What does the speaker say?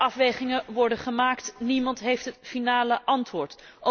Afwegingen worden gemaakt, niemand heeft het definitieve antwoord.